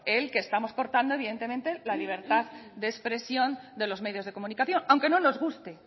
el que estamos cortando evidentemente la libertad de expresión de los medios de comunicación aunque no nos guste